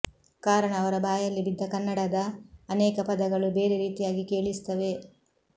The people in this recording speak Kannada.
ಕಾರಣ ಅವರ ಬಾಯಲ್ಲಿ ಬಿದ್ದ ಕನ್ನಡದ ಅನೇಕ ಪದಗಳು ಬೇರೆ ರೀತಿಯಾಗಿ ಕೇಳಿಸುತ್ತವೆ